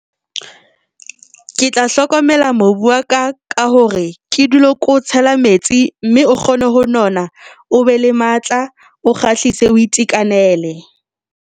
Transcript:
Ke tla hlokomela mobu wa ka ka hore ke dule ko o tshela metsi mme o kgone ho nona, o be le matla, o kgahlise, o itekanele.